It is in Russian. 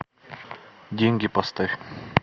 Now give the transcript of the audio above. деньги поставь